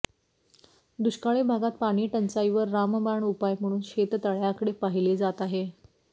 दुष्काळी भागात पाणीटंचाईवर रामबाण उपाय म्हणून शेततळय़ांकडे पाहिले जात आहे